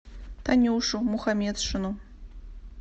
танюшу мухаметшину